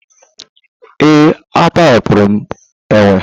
Ee, a tọhapụrụ m enwe